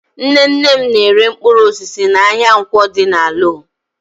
Nnenne m na-ere mpkụrụosisi n'ahịa Nkwọ dị n'Alọ.